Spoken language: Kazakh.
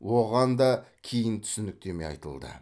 оған да кейін түсініктеме айтылды